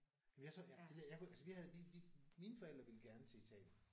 Jamen jeg så ja jeg kunne altså vi havde vi vi mine forældre ville gerne til Italien